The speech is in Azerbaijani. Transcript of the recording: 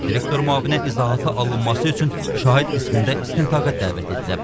Direktor müavini izahatı alınması üçün şahid qismində istintaqa dəvət edilib.